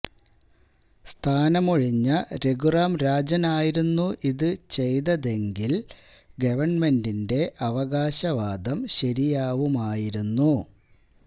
സ്ഥാനമൊഴിഞ്ഞ രഘുറാം രാജന് ആയിരുന്നു ഇത് ചെയ്തതെങ്കില് ഗവണ്മെന്റിന്റെ അവകാശവാദം ശരിയാവുമായിരുന്നു